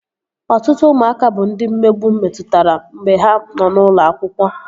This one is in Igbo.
Ọtụtụ ụmụaka bụ ndị mmegbu metụtara mgbe ha nọ n'ụlọ akwụkwọ